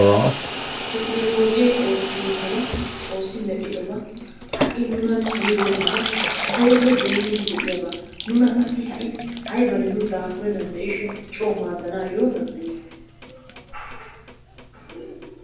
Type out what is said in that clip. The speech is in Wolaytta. Tekkinoloojjee oottibeenaba xoossi medhdhiddoba ha'i nunan hanibenabaa koyroppe doommidi de'iyaba nuna qassi ha'i aybanne nu daafurenaan coo maaddanaayyo danddayiyaba.